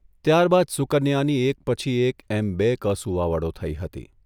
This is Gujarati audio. ત્યારબાદ સુકન્યાની એક પછી એક એમ બે કસુવાવડો થઇ હતી.